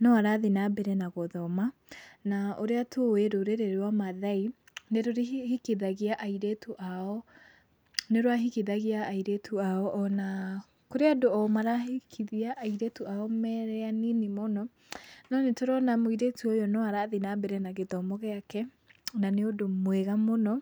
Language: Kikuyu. no arathiĩ na mbere na gũthoma, na ũrĩa tũĩ rũrĩrĩ rwa Maathai nĩrũhikithagia airĩtu ao, nĩrwahikithagia airĩtu ao ona kũrĩ andũ o marahikithia airĩtu marĩ anini mũno, no nĩtũrona mũirĩtu ũyũ no arathiĩ na mbere na gĩthomo gĩake na nĩũndũ mwega mũno.